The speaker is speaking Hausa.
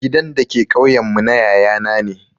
Gidan da ke ƙauyen mu na yaya na ne